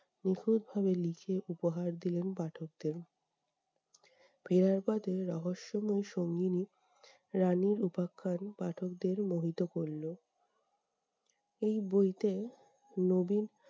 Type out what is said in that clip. নিখুঁতভাবে লিখে উপহার দিলেন পাঠকদের। ফেরার পথে রহস্যময়ী সঙ্গিনী, রানীর উপাখ্যান পাঠকদের মোহিত করলো। এই বইতে নবীন,